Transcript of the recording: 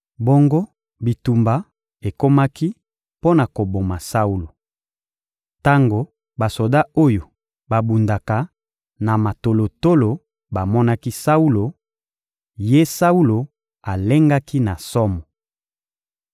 Bongo bitumba ekomaki mpo na koboma Saulo. Tango basoda oyo babundaka na matolotolo bamonaki Saulo, ye Saulo alengaki na somo.